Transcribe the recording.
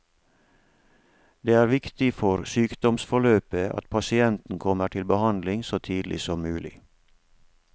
Det er viktig for sykdomsforløpet at pasienten kommer til behandling så tidlig som mulig.